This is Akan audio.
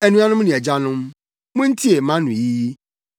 “Anuanom ne agyanom, muntie mʼanoyi yi.”